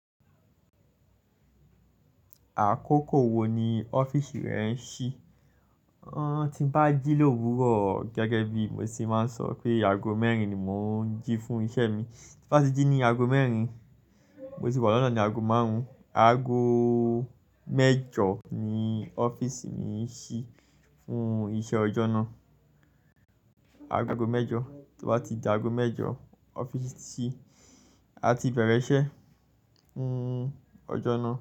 Àkókò wo ni ọ́fíìsì rẹ ń ṣí? Ọ̀nà tí ń bá jí l'òwúrọ̀ gẹ́gẹ́ bí mo ṣe máa ń sọ pé ago mẹ́rin ni mò ń jí fún iṣẹ́ mi. Ti bá ti jí ní ago mẹ́rin, mo tì wa lọ́nà ní ago márùn, ago mẹ́jọ ni ọ́fíìsì mi ń ṣí fún iṣẹ́ ọjọ́ náà. Ago mẹ́jọ, tí o bá ti di ago mẹ́jọ ọ́fíìsì ti ṣí, a ti bẹ̀rẹ̀ ṣẹ fún ọjọ́ náà.